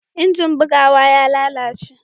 injin bugawa ya lalace